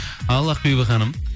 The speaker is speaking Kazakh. ал ақбибі ханым